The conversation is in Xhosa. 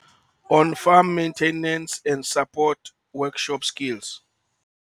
On Farm Maintenance and Support, Workshop Skills.